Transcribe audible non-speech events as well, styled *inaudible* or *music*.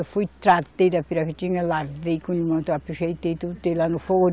Eu fui, tratei da, *unintelligible* lavei com limão, caprichei, botei tudo, *unintelligible* lá no forno.